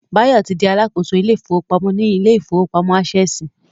Báyọ̀ ti di Alákóso ilé ìfowópamọ́ ní ilé ìfowópamọ́ Ásẹ̀sì